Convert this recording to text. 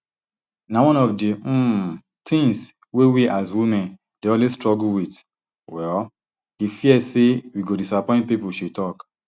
na one of di um tins wey we as women dey always struggle wit um di fear say we go disappoint people she tok